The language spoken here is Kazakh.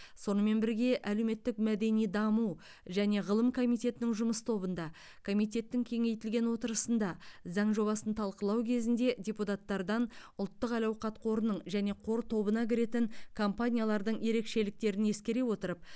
сонымен бірге әлеуметтік мәдени даму және ғылым комитетінің жұмыс тобында комитеттің кеңейтілген отырысында заң жобасын талқылау кезінде депутаттардан ұлттық әл ауқат қорының және қор тобына кіретін компаниялардың ерекшеліктерін ескере отырып